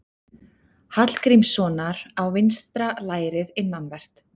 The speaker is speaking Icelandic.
Hallgrímssonar á vinstra lærið innanvert.